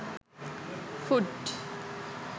food